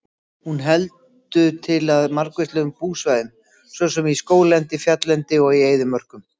Hún heldur til á margvíslegum búsvæðum svo sem í skóglendi, fjalllendi og í eyðimörkum.